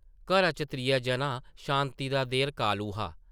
घरा च त्रिया जना शांति दा देर कालू हा ।